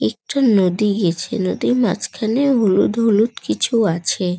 একটি নদী গেছে নদীর মাঝখানে হলুদ হলুদ কিছু আছে।